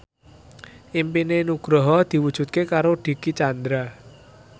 impine Nugroho diwujudke karo Dicky Chandra